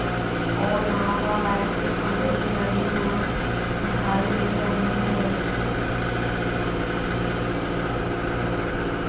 और यहां पर लाइट के खंभे भी लगे हुए दिखाई दे रहे हैं।